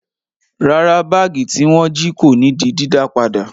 Rárá, báágì tí wọ́n jí kò ní di dídá padà.